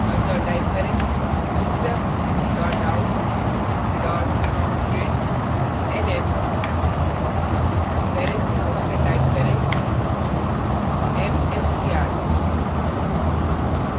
अतः type करें system dot out dot println parentheses में type करें mstr